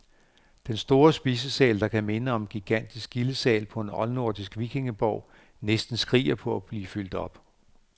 Den store spisesal, der kan minde om en gigantisk gildesal på en oldnordisk vikingeborg, næsten skriger på at blive fyldt op.